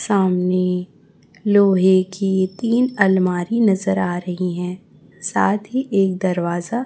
सामने लोहे की तीन अलमारी नजर आ रही हैं साथ ही एक दरवाजा--